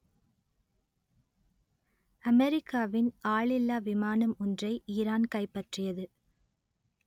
அமெரிக்காவின் ஆளில்லா விமானம் ஒன்றை ஈரான் கைப்பற்றியது